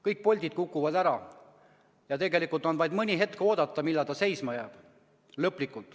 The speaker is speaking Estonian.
Kõik poldid kukuvad ära ja tegelikult on vaid mõni hetk oodata, millal ta lõplikult seisma jääb.